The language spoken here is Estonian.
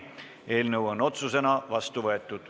Eelnõu on otsusena vastu võetud.